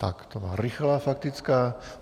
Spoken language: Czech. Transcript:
Tak to byla rychlá faktická.